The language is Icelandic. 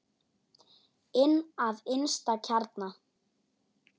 Inn að innsta kjarna.